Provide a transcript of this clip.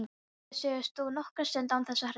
Síra Sigurður stóð nokkra stund án þess að hreyfa sig.